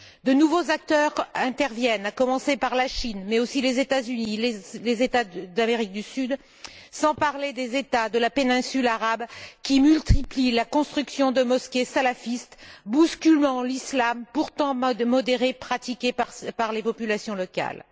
De nouveaux acteurs interviennent, à commencer par la Chine, mais aussi les États Unis, les États d'Amérique du Sud, sans parler des États de la péninsule arabe, qui multiplient la construction de mosquées salafistes, bousculant l'islam pourtant modéré pratiqué par les populations locales.